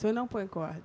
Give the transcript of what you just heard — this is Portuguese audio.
Se eu não ponho corda?